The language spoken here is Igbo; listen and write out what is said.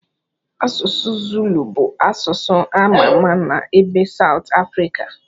Asụsụ Zulu bụ asụsụ a ma-ama na ebe Saut Afrika.